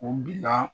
U bila